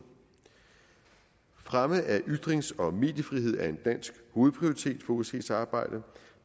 fremme af ytrings og mediefrihed er en dansk hovedprioritet for osces arbejde